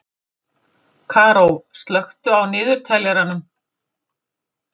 Karó, slökktu á niðurteljaranum.